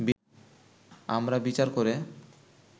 আমরা বিচার করে